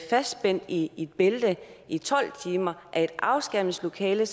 fastspændt i i bælte i tolv timer er et afskærmningslokale